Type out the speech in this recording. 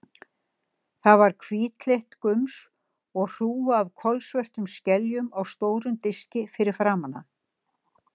Það var hvítleitt gums og hrúga af kolsvörtum skeljum á stórum diski fyrir framan hann.